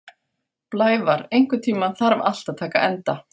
Blævar, einhvern tímann þarf allt að taka enda.